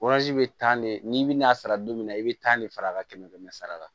bɛ taa ne bɛ n'a sara don min na i bɛ tan de fara a ka kɛmɛ kɛmɛ sara la